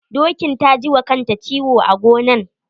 Dokin ta ji wa kanta ciwo a gonan.